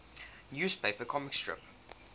newspaper comic strip